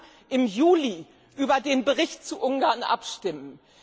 Wir werden im Juli über den Bericht zu Ungarn abstimmen.